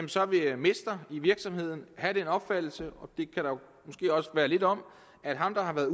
job vil mester i virksomheden have den opfattelse og det kan der måske også være lidt om at ham der har været